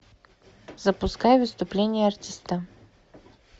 запускай выступление артиста